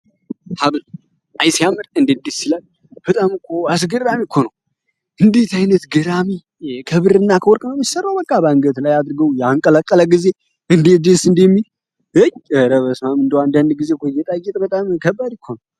ሐብልአይስያምር እንድዲ ስለል በጣምኮ አስገራም ይኮነ እንዴት ዓይነት ገራሚ ከብር እና ከወርቀመምች ሰረው በቃበእንገት ላይ አድርገው የአንቀለቀለ ጊዜ እንዴ ዴስ እንዲሚል ረበስማም እንደ አንዳንድ ጊዜ ኮየጠየጥ በጣም ከባድ ነው እኮ።